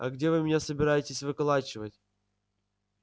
а где вы меня собираетесь выколачивать